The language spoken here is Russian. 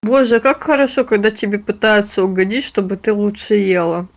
боже как хорошо когда тебе пытаются угодить чтобы ты лучше ела